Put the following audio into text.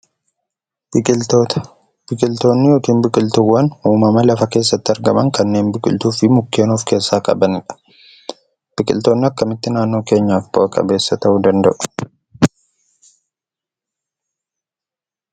Biqiltoota. Biqiltoonni yookin biqiltuuwwan uumama lafa keessatti argaman kanneen biqiltuu fi mukkeen of keessaa qabanidha. Bqiltoonnii akkamitti naannoo keenyaf bu'aa qabeessa ta'uu?